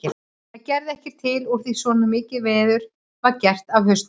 Það gerði ekkert til úr því svona mikið veður var gert af hausnum.